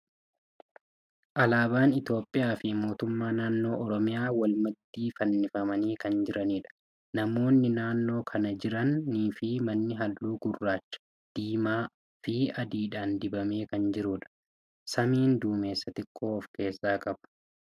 Alaaban Itiyoophiyaa fi mootummaa naannoo Oromiyaa wal maddii fannifamanii kan jiraniidha. Namoonni naannoo kana kan jiranii fi manni halluu gurraacha, diimaa fi adiidhan dibame kan jiruudha. Samiin duumessa xiqqoo of keessaa ni qaba.